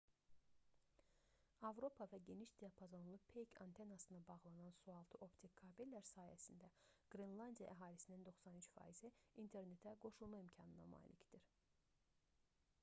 avropa və geniş diapazonlu peyk antenasına bağlanan sualtı optik kabellər sayəsində qrenlandiya əhalisinin 93%-i internetə qoşulma imkanına malikdir